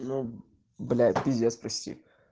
ну блять пиздец прости